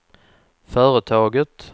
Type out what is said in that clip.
företaget